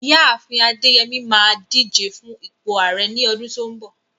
Ìyá àfin Adeyemi máa díje fún ipò Ààrẹ ní ọdún tó ń bọ̀.